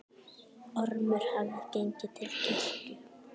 Ormur hafði gengið til kirkju.